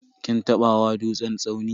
Kin taba hawa dutsen tsauni?